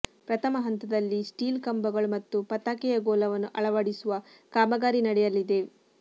ಪ್ರಥಮ ಹಂತದಲ್ಲಿ ಸ್ಟೀಲ್ ಕಂಬಗಳು ಮತ್ತು ಪತಾಕೆಯ ಗೋಲವನ್ನು ಅಳವಡಿಸುವ ಕಾಮಗಾರಿ ನಡೆಯಲಿದೆ